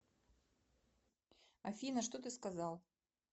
афина что ты сказал